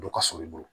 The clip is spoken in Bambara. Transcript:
Dɔ ka surun i bolo